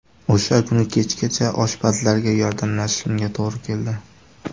O‘sha kuni kechgacha oshpazlarga yordamlashishimga to‘g‘ri keldi.